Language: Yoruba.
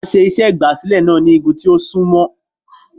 A ṣe igbasilẹ iṣe náá ni igùn ti o sunmọ